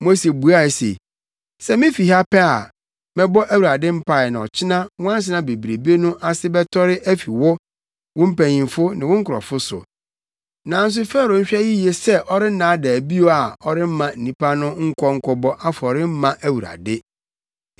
Mose buae se, “Sɛ mifi ha pɛ a, mɛbɔ Awurade mpae na ɔkyena nwansena bebrebe no ase bɛtɔre afi wo, wo mpanyimfo ne wo nkurɔfo so. Nanso Farao nhwɛ yiye sɛ ɔrennaadaa bio a ɔremma nnipa no nkɔ nkɔbɔ afɔre mma Awurade.”